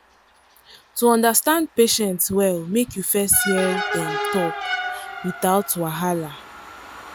to understand patient well make you first hear dem talk without wahala.